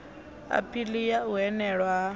aphili ya u hanelwa ha